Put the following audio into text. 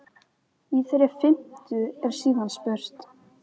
Í þeirri fimmtu er síðan spurt?